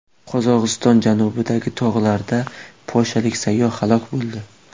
Qozog‘iston janubidagi tog‘larda polshalik sayyoh halok bo‘ldi.